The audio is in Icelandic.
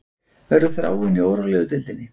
Verður Þráinn í órólegu deildinni